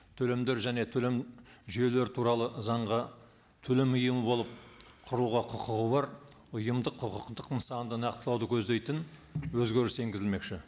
төлемдер және төлем жүйелері туралы заңға төлем ұйымы болып құруға құқығы бар ұйымдық құқықтық нысанды нақтылауды көздейтін өзгеріс енгізілмекші